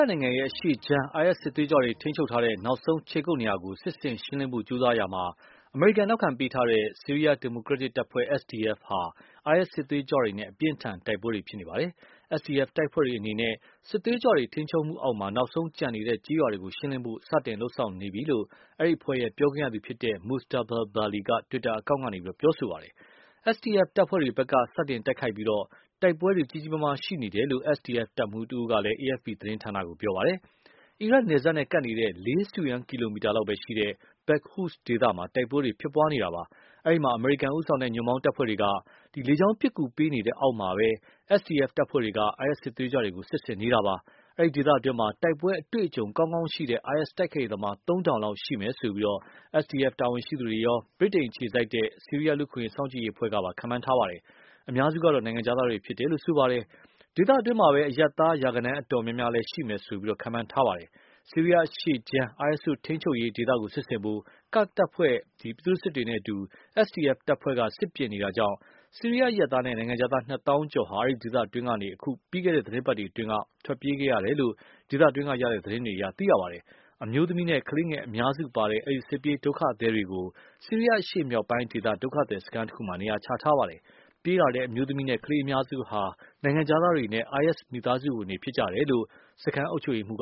ားနိုင်ငံအရှေ့ခြမ်း IS စစ်သွေးကြွတွေထိန်းချုပ်ထားတဲ့ နောက်ဆုံးခြေကုတ်နေရာကို စစ်ဆင်ရှင်းလင်းဖို့ကြိုးစားရာမှာ အမေရိကန် နောက်ခံပေးထားတဲ့ ဆီးရီယားဒီမိုကရက်တစ်တပ်ဖွဲ့ SDF ဟာ IS စစ်သွေးကြွတွေနဲ့ အပြင်းအထန် တိုက်ပွဲတွေဖြစ်နေပါတယ်။ SDF တပ်ဖွဲ့တွေအနေနဲ့ စစ်သွေးကြွတွေထိန်းချုပ်အောက် နောက်ဆုံးကျန်နေတဲ့ ကျေးရွာကို ရှင်းလင်းဖို့အတွက် စတင်လုပ်ဆောင်နေပြီလို့ အဲဒီအဖွဲ့ရဲ့ ပြောခွင့်ရသူ Mustafa Bali က တွစ်တာအကောင့်ကနေ ပြောဆိုပါတယ်။ SDF တပ်ဖွဲ့တွေဖက်က စတင်တိုက်ခိုက်ပြီး တိုက်ပွဲကြီးကြီးမားမား ရှိနေတယ်လို့ SDF တပ်မှုးတဦးက AFP သတင်းဌာနကို ပြောပါတယ်။ အီရတ်နယ်စပ်နဲ့ကပ်နေတဲ့ ၄ စတုရန်းကီလိုမီတာလောက်ပဲရှိတဲ့ Baghuz ဒေသမှာ တိုက်ပွဲတွေဖြစ်နေတာပါ။ အဲဒီမှာ အမေရိကန်ဦးဆောင်တဲ့ ညွှန်ပေါင်းတပ်ဖွဲ့တွေက လေကြောင်းပစ်ကူပေးတဲ့အောက်မှာ SDF တပ်ဖွဲ့တွေက IS စစ်သွေးကြတွေကို စစ်ဆင်နေပါတယ်။ အဲဒိဒေသတွင်းမှာ တိုက်ပွဲအတွေ့အကြုံကောင်းကောင်းရှိတဲ့ IS တိုက်ခိုက်ရေးသမား သုံးထောင်လောက်ရှိမယ်လို့ SDF တာဝန်ရှိသူတွေရော ဗြိတိန်အခြေစိုက် ဆီးရီယားလူ့အခွင့်အရေးစောင့်ကြည့်ရေးအဖွဲ့ကပါ ခန့်မှန်းထားပါတယ်။ အများစုက နိုင်ငံခြားသားတွေဖြစ်တယ်လို့ ဆိုပါတယ်။ ဒေသတွင်းမှာပဲ အရပ်သား ရာဂဏန်းအတော်မျာမးျားလည်း ရှိမယ်လို့ ခန့်မှန်းထားပါတယ်။ ဆီးရီယားအရှေ့ခြမ်း IS တို့ ထိန်းချုပ်ရေးဒေသကိုစစ်ဆင်ဖို့ ကာဒ်တပ်ဖွဲ့ ပြည်သူစစ်တွေနဲ့အတူ SDF တပ်ဖွဲ့က စစ်ပြင်နေတာကြောင့်၊ ဆီးရီယားအရပ်သားနဲ့ နိုင်ငံခြားသား နှစ်သောင်းကျော်ဟာ အဲဒီဒေသအတွင်းကနေ အခု ပြီးခဲ့တဲ့ သီတင်းပတ်အတွင်းက ထွက်ပြေးခဲ့ရတယ်လို့ ဒေသတွင်းက ရတဲ့ သတင်းတွေအရ သိရပါတယ်။ အမျိုးသမီးနဲ့ ကလေးငယ်အများစုပါတဲ့ အဲဒီ စစ်ပြေးဒုက္ခသည်တွေကို ဆီးရီယားအရှေ့မြောက်ပိုင်းဒေသ ဒုက္ခသည်စခန်းတခုမှာ နေရာချထားပါတယ်။ ပြေးလာတဲ့ အမျိုးသမီးနဲ့ ကလေးအများစုဟာ နိုင်ငံခြားသားတွေနဲ့ IS မိသားစုဝင်တွေဖြစ်ကြတယ်လို့ အဲဒီ စခန်းအုပ်ချုပ်ရေးမှုး